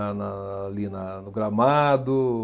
lá na, ali na no gramado.